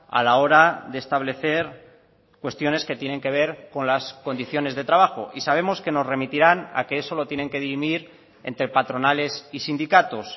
a la hora de establecer cuestiones que tienen que ver con las condiciones de trabajo y sabemos que nos remitirán a que eso lo tienen que dirimir entre patronales y sindicatos